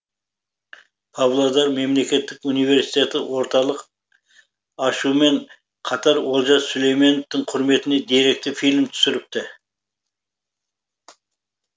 павлодар мемлекеттік университеті орталық ашумен қатар олжас сүлейменовтің құрметіне деректі фильм түсіріпті